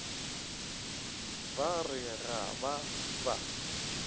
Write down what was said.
ba re ga ba ba